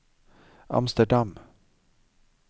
Amsterdam